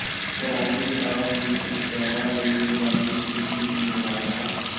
ਪੁਰਾਣੀ ਸਾਹ ਦੀ ਸਮੱਸਿਆਵਾਂ ਲਈ ਜ਼ਬਾਨੀ ਸੂਲੀ ਜ਼ਿੰਮੇਵਾਰ ਹੈ